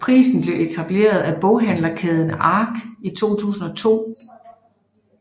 Prisen blev etableret af boghandlerkæden Ark i 2002